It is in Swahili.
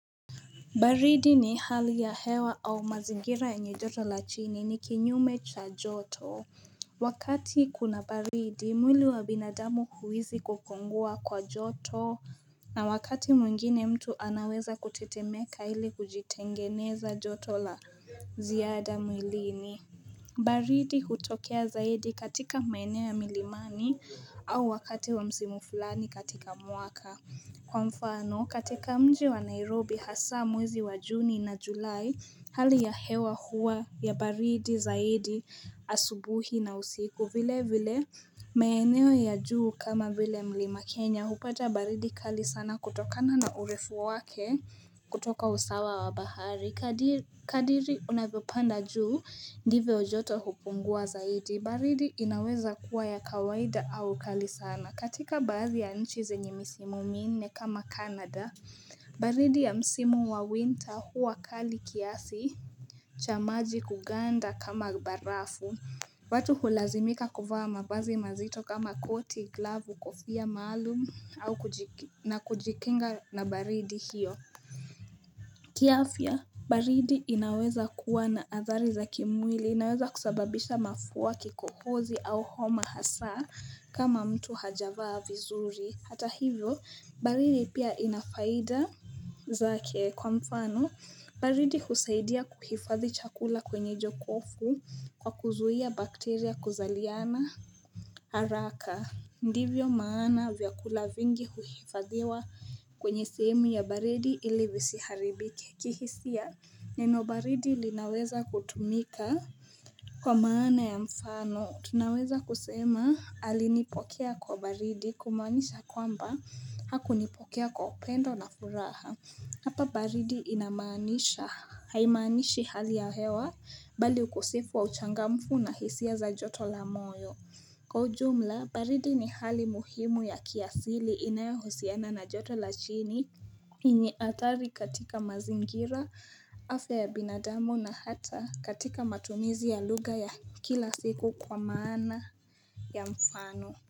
Baridi ni hali ya hewa au mazingira yenye joto la chini ni kinyume cha joto Wakati kuna baridi mwili wa binadamu huhisi kupungua kwa joto na wakati mwingine mtu anaweza kutetemeka ili kujitengeneza joto la ziada mwilini baridi hutokea zaidi katika maeneo ya milimani au wakati wa msimu flani katika mwaka. Kwa mfano, katika mji wa Nairobi hasaa mwezi wa Juni na Julai hali ya hewa huwa ya baridi zaidi asubuhi na usiku vile vile maeneo ya juu kama vile mlima Kenya hupata baridi kali sana kutokana na urefu wake kutoka usawa wa bahari. Kadiri unavyopanda juu ndivyo joto hupungua zaidi. Baridi inaweza kuwa ya kawaida au kali sana. Katika baadhi ya nchi zenye misimu minne kama Canada baridi ya msimu wa winter huwa kali kiasi cha maji kuganda kama barafu watu hulazimika kuvaa mavazi mazito kama koti, glavu, kofia, maalum na kujikinga na baridi hiyo kiafya, baridi inaweza kuwa na athari za kimwili inaweza kusababisha mafua kikohozi au homa hasaa kama mtu hajavaa vizuri, hata hivyo, baridi pia ina faida zake kwa mfano, baridi kusaidia kuhifadhi chakula kwenye jokofu kwa kuzuia bakteria kuzaliana haraka Ndivyo maana vyakula vingi huifadhiwa kwenye sehemu ya baridi ili visiharibike kihisia Neno baridi linaweza kutumika Kwa maana ya mfano tunaweza kusema alinipokea kwa baridi kumaanisha kwamba hakunipokea kwa upendo na furaha Hapa baridi inamanisha haimanishi hali ya hewa bali ukosefu wa uchangamfu na hisia za joto la moyo. Kwa ujumla, baridi ni hali muhimu ya kiasili inayohusiana na joto la chini. Yenye hatari katika mazingira, afya ya binadamu na hata katika matumizi ya lugha ya kila siku kwa maana ya mfano.